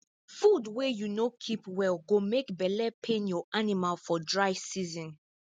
food wey you no keep well go make belle pain your animal for dry season